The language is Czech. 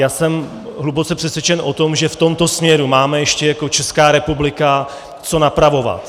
Já jsem hluboce přesvědčen o tom, že v tomto směru máme ještě jako Česká republika co napravovat.